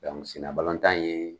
sennabalɔntan in ye